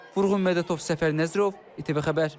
Vurğun Mədətov, Səfər Nəzərov, İTV Xəbər.